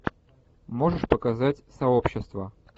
можешь показать сообщество